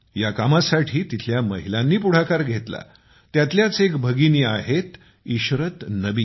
या कामासाठी तेथील महिलांनी पुढाकार घेतला त्यातल्याच एक भगिनी आहेइशरत नबी